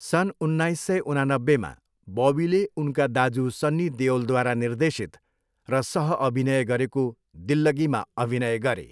सन् उन्नाइस सय उनानब्बेमा, बबीले उनका दाजु सन्नी देओलद्वारा निर्देशित र सहअभिनय गरेको दिल्लगीमा अभिनय गरे।